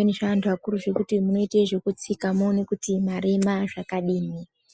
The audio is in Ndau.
nezveantu akuru zvinoite ekutsika kuone kuti mwarema zvakadini.